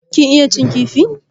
Kin iya cin kifi?